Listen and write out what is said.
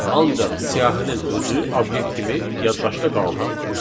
Ancaq siyahının özü obyekt kimi yaddaşda qaldı.